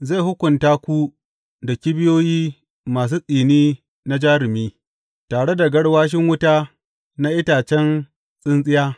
Zai hukunta ku da kibiyoyi masu tsini na jarumi, tare da garwashin wuta na itacen tsintsiya.